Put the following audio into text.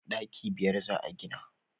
daki biyar za a gina